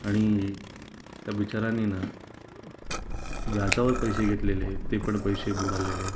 आणि त्या बिचाऱ्यानिना व्याजावर पैसे घेतलेले ते पण पैसे बुडालेले